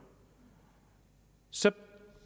så det